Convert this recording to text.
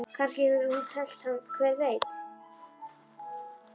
Kannski hefur hún tælt hann, hver veit?